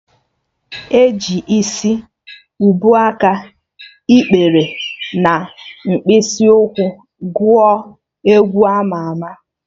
E ji Isi, ubuaka, ikpere na mkpịsị ụkwụ gụọ egwu ama ama